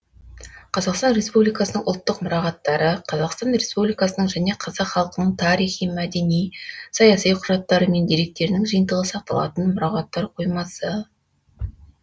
қазақстан республикасының ұлттық мұрағаттары қазақстан республикасының және қазақ халқының тарихи мәдени саяси құжаттары мен деректерінің жиынтығы сақталатын мұрағаттар қоймасы